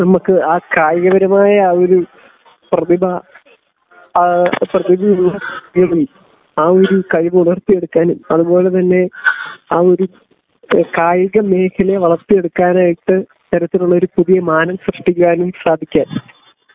നമുക്ക് ആ കായിക പരമായ ഒരു പ്രതിഭ ആ പ്രതിഭയിലൂടെ ആ ഒരു കഴിവ് ഉണർത്തിയെടുക്കാൻ അത്പോലെ തന്നെ ആ ഒരു കായിക മേഘലയെ വളർത്തിയെടുക്കാനായിട്ട് തരത്തിലുള്ള പുതിയ മാനം സൃഷ്ടിക്കുവാനും സാധിക്കാൻ